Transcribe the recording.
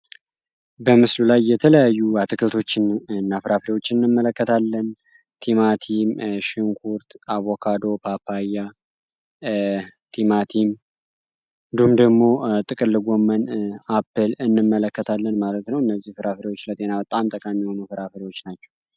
በምስሉ ላይ የተለያዩ አትክልቶችን እና ፍራፍሬዎችን እንመለከታለን ቲማቲም፣ ሽንኩርት፣ አቦካዶ፣ ፓፓያ፣ እንዲሁም ደግሞ ጥቅል ጎመን አፕል እንመለከታለን። እነዚህ ፍራፍሬዎች ለጤና በጣም ጠቃሚ የሆኑ ፍራፍሬዎች ናቸው